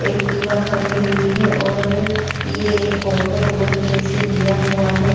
Activa खड़ी हुई है और ये फोटो रोड पे से लिया हुआ है।